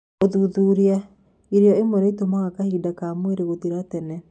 Ũthuthuria: Irio imwe nĩĩtũmaga kahinda ka mweri gũthira tene